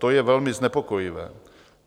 To je velmi znepokojivé.